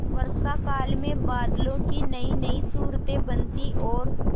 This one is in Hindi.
वर्षाकाल में बादलों की नयीनयी सूरतें बनती और